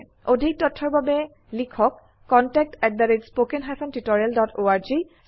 অধিক তথ্যৰ বাবে লিখক contactspoken tutorialorg স্পোকেন টিউটোৰিয়াল প্ৰকল্প তাল্ক ত a টিচাৰ প্ৰকল্পৰ এটা অংগ